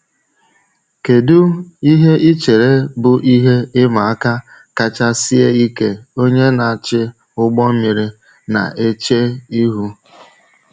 Kedu ihe ị chere bụ ihe ịma aka kacha sie ike onye na-achị ụgbọ mmiri na-eche ihu?